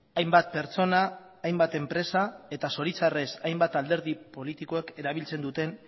hainbat pertsona hainbat enpresa eta zoritxarrez hainbat alderdi politikoek erabiltzen duten